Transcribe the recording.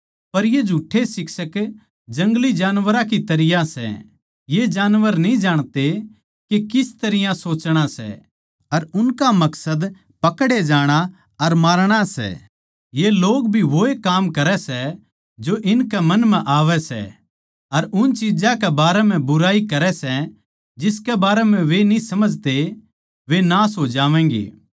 पर ये झुठ्ठे शिक्षक जंगली जानवरां की तरियां सै ये जानवर न्ही जाणते के किस तरियां सोचणा सै अर उनका मकसद पकड़े जाणा अर मरणा सै ये लोग भी वोए काम करै सै जो इनके मन म्ह आवै सै अर उन चिज्जां के बारें म्ह बुराई करै सै जिसके बारें म्ह वे न्ही समझते वे नाश हो जावैंगे